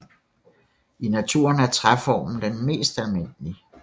I naturen er træformen den mest almindelige